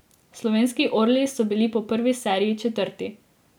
Slovenski orli so bili po prvi seriji četrti.